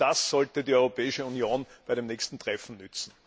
Das sollte die Europäische Union bei dem nächsten Treffen nützen.